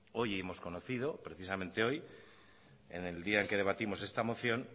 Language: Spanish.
hoy hemos conocido precisamente hoy en el día en que debatimos esta moción